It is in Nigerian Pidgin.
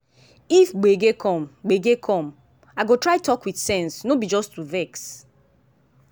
if gbege come gbege come i go try talk with sense no be to just vex.